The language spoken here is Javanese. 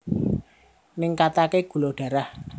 Ningkataké gula darah